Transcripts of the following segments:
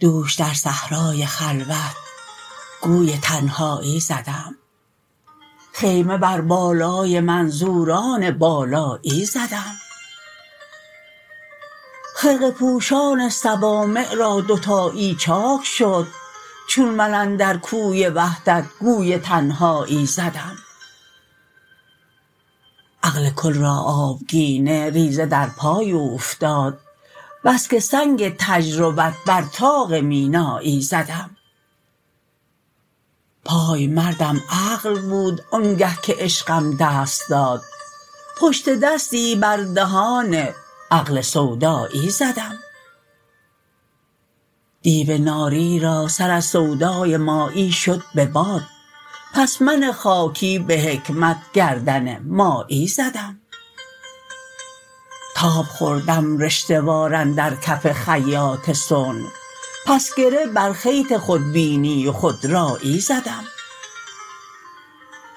دوش در صحرای خلوت گوی تنهایی زدم خیمه بر بالای منظوران بالایی زدم خرقه پوشان صوامع را دوتایی چاک شد چون من اندر کوی وحدت گوی تنهایی زدم عقل کل را آبگینه ریزه در پای اوفتاد بس که سنگ تجربت بر طاق مینایی زدم پایمردم عقل بود آنگه که عشقم دست داد پشت دستی بر دهان عقل سودایی زدم دیو ناری را سر از سودای مایی شد به باد پس من خاکی به حکمت گردن مایی زدم تاب خوردم رشته وار اندر کف خیاط صنع پس گره بر خیط خودبینی و خودرایی زدم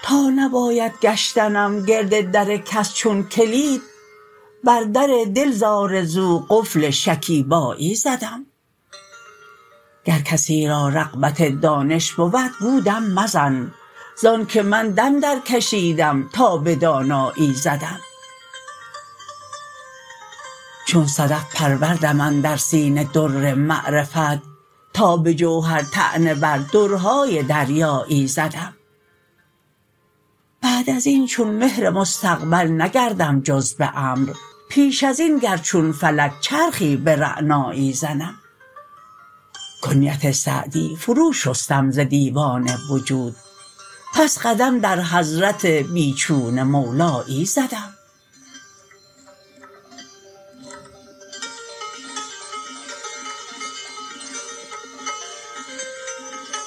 تا نباید گشتنم گرد در کس چون کلید بر در دل ز آرزو قفل شکیبایی زدم گر کسی را رغبت دانش بود گو دم مزن زآن که من دم درکشیدم تا به دانایی زدم چون صدف پروردم اندر سینه در معرفت تا به جوهر طعنه بر درهای دریایی زدم بعد از این چون مهر مستقبل نگردم جز به امر پیش از این گر چون فلک چرخی به رعنایی زدم کنیت سعدی فرو شستم ز دیوان وجود پس قدم در حضرت بی چون مولایی زدم